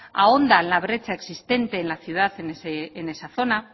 ahonda en la brecha existente en la ciudad en esa zona